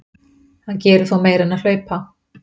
Hann gerir þó meira en að hlaupa.